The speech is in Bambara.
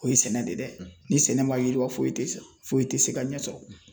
O ye sɛnɛ de ye dɛ. Ni sɛnɛ ma yiriwa foyi te san, foyi te se ka ɲɛ sɔrɔ.